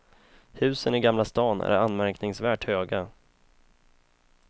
Husen i gamla stan är anmärkningsvärt höga.